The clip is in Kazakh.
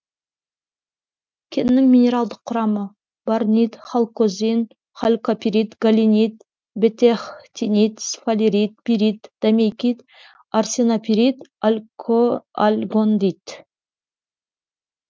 кеннің минералдық құрамы борнит халькозин халькопирит галенит бетехтинит сфалерит пирит домейкит арсенопирит альгондит